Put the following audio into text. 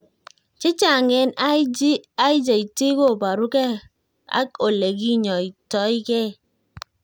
Chechang' eng IJT ko parukei ak ole kinyoitoigei